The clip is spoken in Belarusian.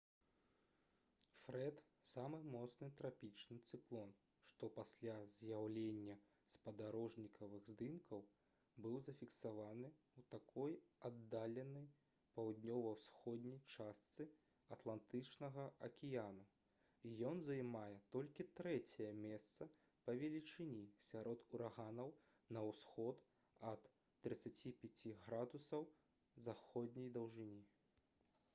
фрэд — самы моцны трапічны цыклон што пасля з'яўлення спадарожнікавых здымкаў быў зафіксаваны ў такой аддаленай паўднёва-ўсходняй частцы атлантычнага акіяну і ён займае толькі трэцяе месца па велічыні сярод ураганаў на ўсход ад 35 ° з.д